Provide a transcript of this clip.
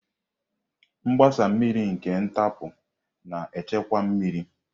Mgbasa mmiri nke ntapu na-echekwa mmiri.